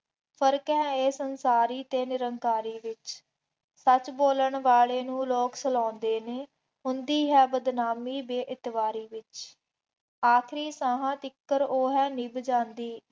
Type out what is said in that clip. ਫਰਕ ਹੈ ਇਹ ਸੰਸਾਰੀ ਅਤੇ ਨਿਰੰਕਾਰੀ ਵਿੱਚ, ਸੱਚ ਬੋਲਣ ਵਾਲੇ ਨੂੰ ਲੋਕ ਸਲਾਹੁੰਦੇ ਨੇ, ਹੁੰਦੀ ਹੈ ਬਦਨਾਮੀ ਬੇਇਤਬਾਰੀ ਦੀ, ਆਖਰੀ ਸਾਹਾਂ ਤੀਕਰ ਉਹ ਹੈ ਨਿੱਭ ਜਾਂਦੀ